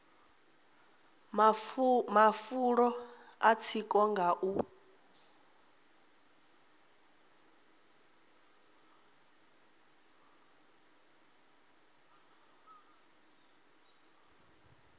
mafulo a tsiko nga u